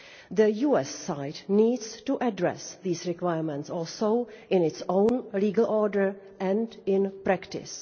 The US side also needs to address these requirements in its own legal order and in practice.